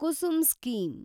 Kusum scheme